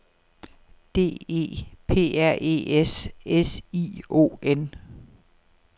D E P R E S S I O N